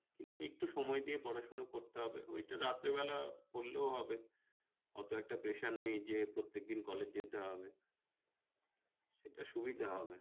কিন্তু একটু সময় দিয়ে পড়াশুনা করতে হবে ওই একটু রাতের বেলা পড়লেও হবে, অত একটা pressure নেই যে প্রত্যেকদিন college যেতে হবে, এতে সুবিধা হবে